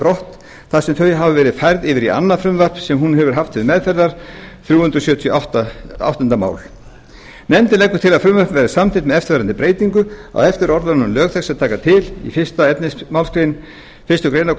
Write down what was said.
brott þar sem þau hafa verið færð yfir í annað frumvarp sem hún hefur haft til meðferðar nefndin leggur til að frumvarpið verði samþykkt með eftirfarandi breytingu á eftir orðunum lög þessi taka til í fyrsta efnismgr fyrstu grein